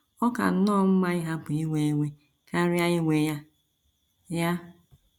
Ọ ka nnọọ mma ịhapụ iwe iwe karịa iwe ya. ya.